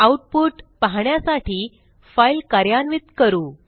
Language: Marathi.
आऊटपुट पाहण्यासाठी फाईल कार्यान्वित करू